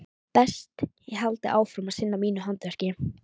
Best ég haldi áfram að sinna mínu handverki.